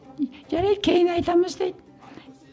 жарайды кейін айтамыз дейді